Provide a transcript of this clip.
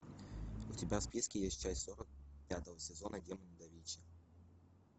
у тебя в списке есть часть сорок пятого сезона демоны да винчи